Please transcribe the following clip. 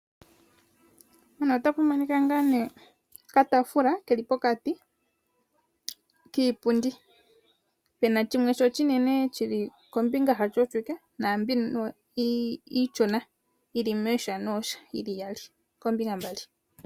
mpano ota monika ngaa nee oka taafula keli pokati kiipundi , pena shimwe shi oshi nene shili kombinga hasho oshwiike, naambi iishona yili mooha nooha yili iyali koombinga mbali.